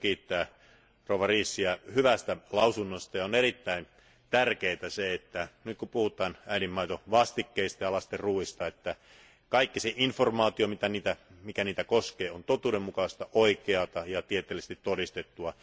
Täytyy kiittää Riesiä hyvästä mietinnöstä ja on erittäin tärkeää se, että nyt kun puhutaan äidinmaidonvastikkeista ja lasten ruuista, että kaikki se informaatio, mikä niitä koskee, on totuudenmukaista, oikeaa ja tieteellisesti todistettua.